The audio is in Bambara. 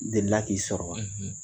Delila k'i sɔrɔ wa